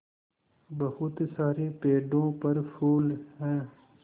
बहुत सारे पेड़ों पर फूल है